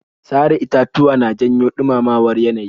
Sare itatuwa na janyo ɗumamamar yanayi.